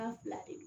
fila de